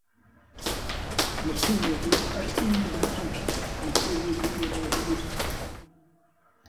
Mutum ya zo har inda muke ya ce zai buɗe mana ido.